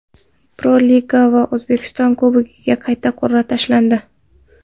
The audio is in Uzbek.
Pro-Liga va O‘zbekiston Kubogiga qayta qur’a tashlandi.